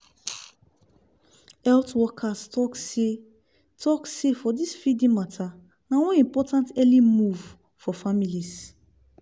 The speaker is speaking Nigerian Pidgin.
health workers talk seh talk seh for this feeding mata na one important early move for families